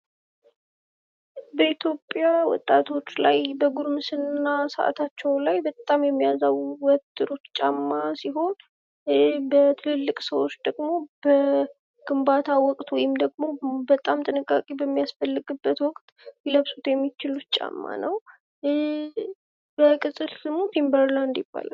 በኢትዮጵያ ወጣቶች ላይ በጉርምስና ሰዓታቸው ላይ በጣም የሚያዛሩት ጫማ ሲሆን በትልቅ ሰዎች ደግሞ በግንባታ ወቅት ወይም ደግሞ በጣም ጥንቃቄ በሚያስፈልግበት ወቅት ሊለብሱት የሚችሉት ጫማ ነው። በቅጽል ስሙ ቲምበር ላንድ ይባላል።